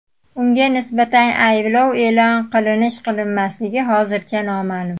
Unga nisbatan ayblov e’lon qilinish-qilinmasligi hozircha noma’lum.